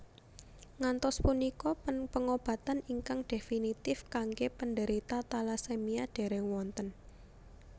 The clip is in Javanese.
Ngantos punika pengobatan ingkang definitive kanggé penderita talasemia dèrèng wonten